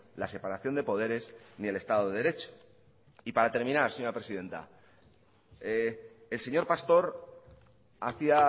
la separación de poderes ni el estado de derecho y para terminar señora presidenta el señor pastor hacía